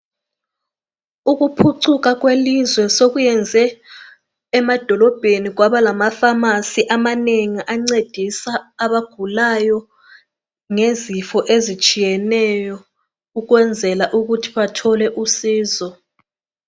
Ukuphucuka kwelizwe sokuyenze emadolobheni kwaba lama pharmacy amanengi ancedisa abagulayo ngezifo ezitshiyeneyo ukwenzela ukuthi bathole usizo